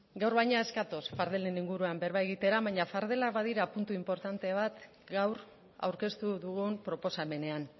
gaur baina ez gatoz fardelen inguruan berba egitera baina fardelak badira puntu inportante bat gaur aurkeztu dugun proposamenean